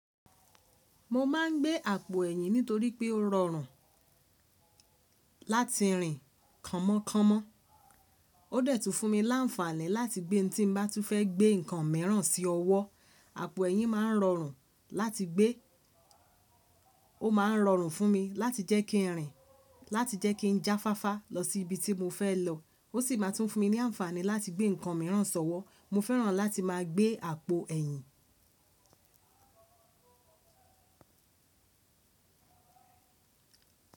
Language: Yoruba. Mo ma n gbé àpò ẹ̀yìn nítorí pé ó rọrùn láti rìn kàn mọ kàn mọ. Ó dẹ́tù fún mi láǹfààní láti gbé tí n bá tún fẹ́ gbé nnkan míiràn sí ọwọ́. Àpò ẹ̀yìn ma n rọrùn láti gbé. Ó ma n rọrùn fún mi láti jẹ́ kí n rìn, láti jẹ́ kí n jáfáfá lọ sí ibi tí mo fẹ́ lọ. Ó sì máa tún fún mi ní àǹfààní láti gbé nnkan míiràn sọ́wọ́. Mo fẹ́ràn láti máa gbé àpò ẹ̀yìn.